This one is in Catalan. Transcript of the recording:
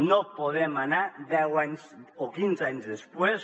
no podem anar deu anys o quinze anys després